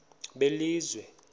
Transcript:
belizwe